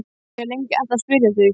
Ég hef lengi ætlað að spyrja þig.